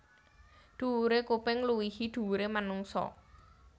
Dhuwure kuping ngluwihi dhuwure manungsa